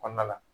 Kɔnɔna la